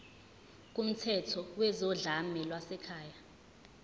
kumthetho wezodlame lwasekhaya